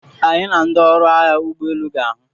Anyị na ndị ọrụ agha ụgbọ elu ga-ahụ.